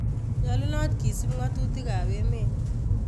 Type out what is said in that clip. Nyolunoot kisup ngatutikap emeet